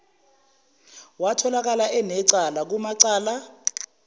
watholakala enecala kumacala